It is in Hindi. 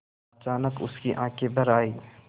अचानक उसकी आँखें भर आईं